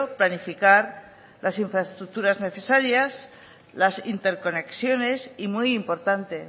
planificar las infraestructuras necesarias las interconexiones y muy importante